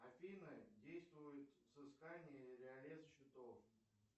афина действует взыскание или арест счетов